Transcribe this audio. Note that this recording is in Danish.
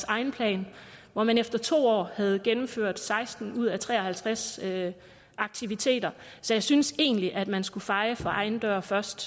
egen plan hvor man efter to år havde gennemført seksten ud af tre og halvtreds aktiviteter så jeg synes egentlig man skulle feje for egen dør først